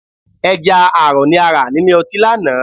Ẹja àrọ̀ ni a rà nílé ọtí lánàá